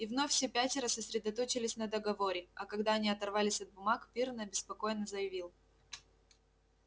и вновь все пятеро сосредоточились на договоре а когда они оторвались от бумаг пиренн обеспокоенно заявил